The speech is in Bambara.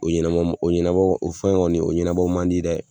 O ɲɛna o ɲɛnabɔ o fɛn kɔni o ɲɛnabɔ man di dɛ